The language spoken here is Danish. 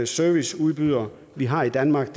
serviceudbyder vi har i danmark